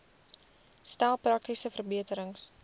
stel praktiese verbeterings